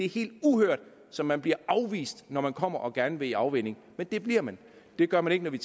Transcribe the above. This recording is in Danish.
helt uhørt som man bliver afvist når man kommer og gerne vil i afvænning men det bliver man det gør man ikke